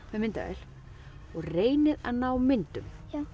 með myndavél og reynið að ná myndum